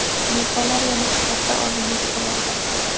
mezbonlar yana hisobda oldinga chiqib oldi.